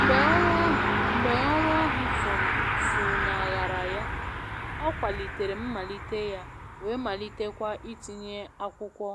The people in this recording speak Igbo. Mgbe ọru ahu Mgbe ọru ahu funaghara ya, ọ kwalitere mmalite ya wee malite kwa itinye akwụkwọ